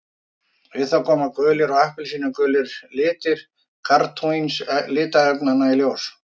Við það koma gulir og appelsínugulir litir karótín litarefnanna í ljós.